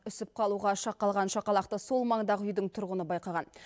үсіп қалуға шақ қалған шақалақты сол маңдағы үйдің тұрғыны байқаған